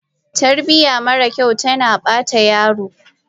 Tarbiya mara kyau tana bata yaro